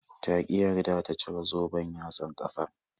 Ta ƙi yarda ta cire zoben yatsan ƙafar